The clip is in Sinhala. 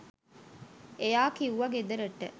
එයා කිව්ව ගෙදරට